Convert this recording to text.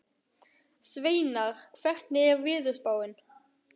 Sveinar, hvernig er veðurspáin?